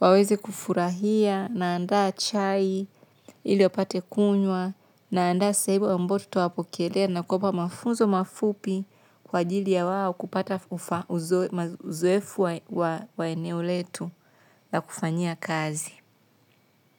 waweze kufurahia naandaa chai, ili wapate kunywa. Naandaa sehemu ambayo tutawapokelea na kuwapa mafunzo mafupi kwa ajili ya wao kupata uzoefu wa eneo letu. Na kufanyia kazi.